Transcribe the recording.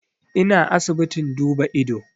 Ina asibitin duba ido